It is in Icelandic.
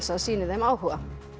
sýni þeim áhuga